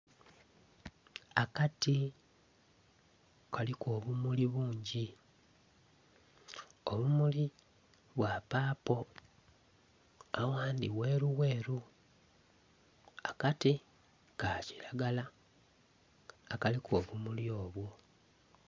Akati kaliku obumuli bungi obumuli bwa papo aghandi gheru gheru akati ka kilagala akaliku obumuli obwo.